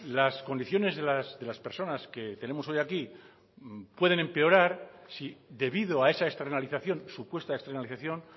las condiciones de las personas que tenemos hoy aquí pueden empeorar si debido a esa externalización supuesta externalización